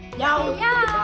já